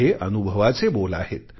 हे अनुभवाचे बोल आहेत